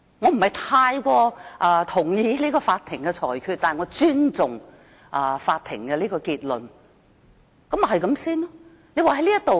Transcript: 我不太認同法庭的裁決，但我尊重法庭的結論，事情應就此完結。